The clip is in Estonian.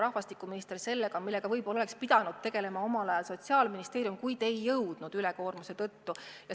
Rahvastikuminister tegeleb sellega, millega võib-olla oleks pidanud tegelema omal ajal Sotsiaalministeerium, kuid ei jõudnud ülekoormuse tõttu.